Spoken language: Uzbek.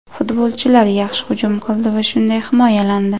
Futbolchilar yaxshi hujum qildi va shunday himoyalandi.